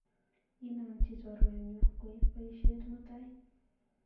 Inanchi chorwenyu koip baisyet mutai.